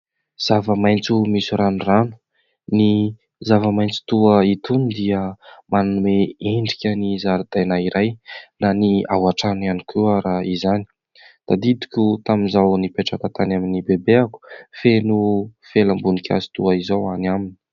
Zava-maitso misy ranorano. Ny zava-maitso toa itony dia manome endrikan'ny zaradaina iray, na ny ao antrano ihany koa ary izany. Tadidiko tamin'izaho nipetraka tany amin'ny bebeako feno felam-boninkazo toa izao any aminy.